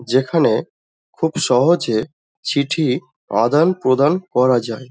যেখানে খুব সহজে চিঠি আদান প্রদান করা যায়।